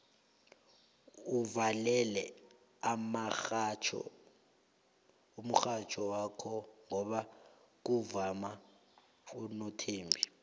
uvulele umurhatjho wakhe ngoba kuvuma unothembi